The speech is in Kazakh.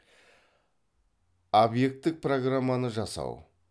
объектік программаны жасау